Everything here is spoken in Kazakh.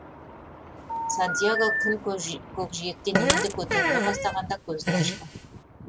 сантьяго күн көкжиектен енді көтеріле бастағанда көзін ашты